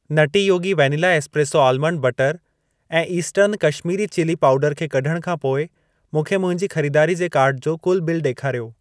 नटी Yogi vanilla espresso almond butter ऐं Eastern Kashmiri chilli पाउडरु खे कढण खां पोइ मूंखे मुंहिंजी खरीदारी जे कार्ट जो कुल बिल ॾेखारियो।